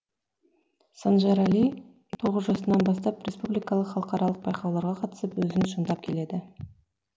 санжарәли тоғыз жасынан бастап республикалық халықаралық байқауларға қатысып өзін шыңдап келеді